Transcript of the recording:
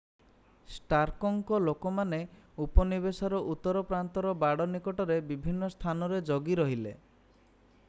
ଷ୍ଟାର୍କଙ୍କ ଲୋକମାନେ ଉପନିବେଶର ଉତ୍ତର ପ୍ରାନ୍ତର ବାଡ଼ ନିକଟରେ ବିଭିନ୍ନ ସ୍ଥାନରେ ଜଗି ରହିଲେ